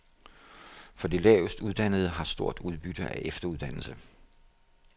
For de lavest uddannede har stort udbytte af efteruddannelse.